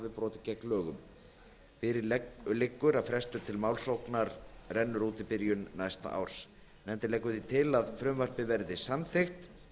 brotið gegn lögum fyrir liggur að frestur til málsóknar rennur út í byrjun næsta árs nefndin leggur því til að frumvarpið verði samþykkt